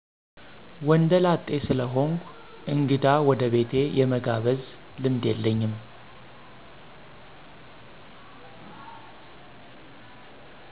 ወንደ ላጤ ስለሆንኩ እንግዳ ወደ ቤቴ የመጋብዝ ልምድ የለኝም።